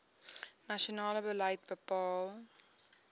nasionale beleid bepaal